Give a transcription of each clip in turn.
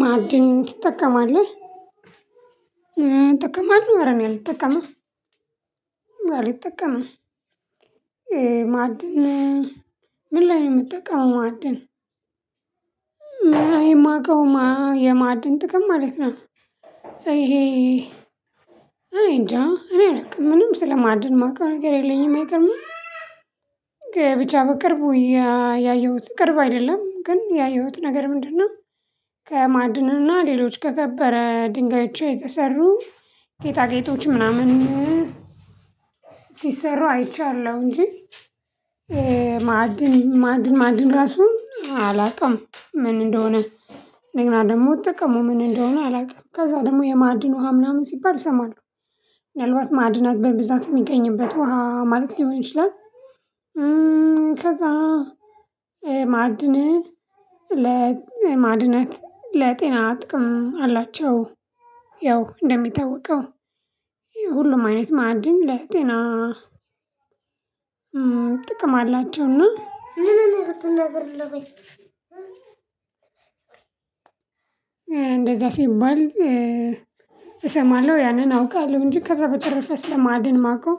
ማዕድን ትጠቀማለህ ጠቀማለሁ ዕረእኔ አልጠቀምም አልጠቀምም። ማዕድን ምን ላይ ነው የምጠቀመው? ማዕድን የማዕድን ጥቅም ማለት ነው። ይሄ እኔ እንጃ እኔ አላቅም ምንም ስለማድን ማውቀው ነገር የለኝም አይገርምም። ግብቻ በቅርቡ ያየሁት ቅርብ አይደለም ግን ያየሁት ነገር ምንድነው? ከማዕድኑና ሌሎች ከከበረ ድንጋዮች የተሰሩ ጌጣጌጦች ምናምን ሲሰሩ አይቻለሁ እንጂ። ማዕድን ማዕድን ማዕድን ራሱ አላውቅም ምን እንደሆነ እንደገና ደግሞ ጥቅሙ ምን እንደሆነ አላውቅም። ከዛ ደግሞ የማዕድን ውሃ ምናምን ሲባል እሰማለሁ። ምናልባት ማዕድናት በብዛት የሚገኝበት ውሃ ማለት ሊሆን ይችላል። ከዛ ማዕድን ለማዕድናት ለጤና ጥቅም አላቸው። ያው እንደሚታወቀው ሁሉም አይነት ማዕድን ለጤና ጥቅም አላቸውና ምን እንደምትነግር እለሆይ። እንደዛ ሲባል እሰማለሁ ያንን አውቃለሁ እንጂ ከዛ በተረፈ ስለማድን ማውቀው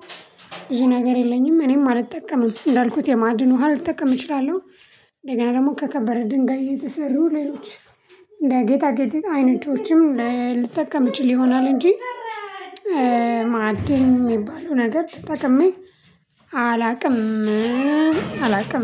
ብዙ ነገር የለኝም። እኔም አልጠቀምም እንዳልኩት የማዕድኑ ውሃ ልጠቀም እችላለሁ። እንደገና ደግሞ ከከበረ ድንጋይ እየተሰሩ ሌሎች እንደ ጌጣ ጌጥ አይነቶችም ልትጠቀም እችል ይሆናል እንጂ። ማዕድ የሚባለው ነገር ተጠቅሜ አላውቅም አላውቅም